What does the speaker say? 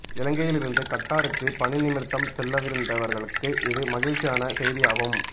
இலங்கையில் இருந்து கட்டாருக்கு பணி நிமிர்த்தம் செல்லவிருந்தவர்களுக்கு இது மகிழ்ச்சியான செய்தியாகும்